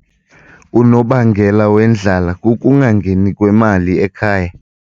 Unobangela wendlala kukungangeni kwemali ekhaya.